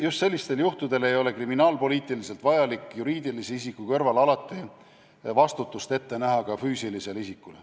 Just sellistel juhtudel ei ole kriminaalpoliitiliselt vajalik näha alati ette, et juriidilise isiku kõrval vastutab ka füüsiline isik.